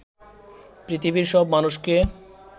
পৃথিবীর সব মানুষকে